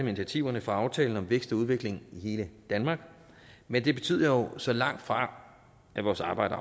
initiativerne fra aftalen om vækst og udvikling i hele danmark men det betyder jo så langtfra at vores arbejde